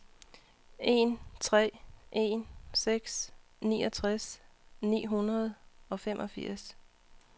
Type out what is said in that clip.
en tre en seks niogtres ni hundrede og femogfirs